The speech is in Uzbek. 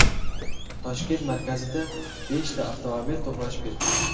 Toshkent markazida beshta avtomobil to‘qnashib ketdi.